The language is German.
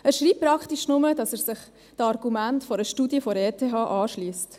Er schreibt praktisch nur, dass er sich den Argumenten einer Studie der ETH anschliesst.